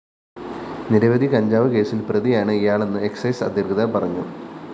നിരവധി കഞ്ചാവ് കേസില്‍ പ്രതിയാണ് ഇയാളെന്ന് എക്സൈസ്‌ അധികൃതര്‍ പറഞ്ഞു